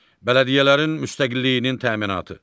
Bələdiyyələrin müstəqilliyinin təminatı.